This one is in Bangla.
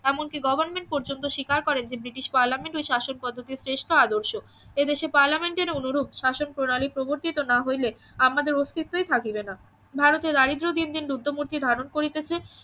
এমন কি গভর্নমেন্ট পর্যন্ত স্বীকার করেন যে ব্রিটিশ পার্লামেন্ট ওই শাসন পদ্ধতির শ্রেষ্ঠ আদর্শ এদেশের পার্লামেন্ট এর অনুরূপ শাসন প্রণালী প্রবর্তিত না হইলে আমাদের অস্তিত্বই থাকিবে না ভারতের দারিদ্র দিন দিন রুদ্রমূর্তি ধারণ করিতেছে